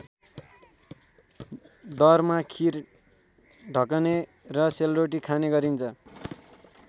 दरमा खिर ढकने र सेलरोटी खाने गरिन्छ।